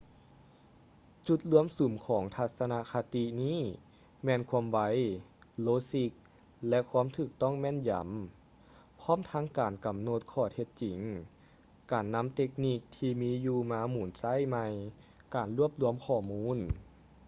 ຈຸດລວມສຸມຂອງທັດສະນະຄະຕິນີ້ແມ່ນ ຄວາມໄວ ໂລຊິກ ແລະ ຄວາມຖືກຕ້ອງແມ່ນຢຳ ພ້ອມທັງການກຳນົດຂໍ້ເທັດຈິງ ການນຳເຕັກນິກທີ່ມີຢູ່ມາໝູນໃຊ້ໃໝ່ ການລວບລວມຂໍ້ມູນ